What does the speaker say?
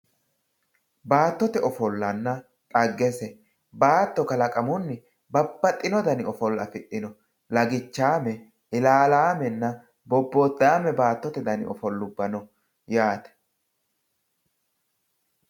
Baattote ofollanna dhaggese, baatto kalaqamunni babbaxxino dana afidhino lagichame, ilalame, bobodame baattote ofolla dani no yaate.